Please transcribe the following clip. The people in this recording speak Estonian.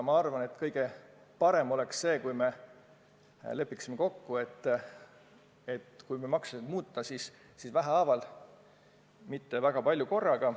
Ma arvan, et kõige parem oleks, kui me lepiksime kokku, et kui maksusid muuta, siis vähehaaval, mitte väga palju korraga.